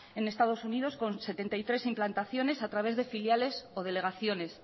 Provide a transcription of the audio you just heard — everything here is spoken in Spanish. en estados unidos con setenta y tres implantaciones a través de filiales o delegaciones